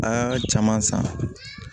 A y'a caman san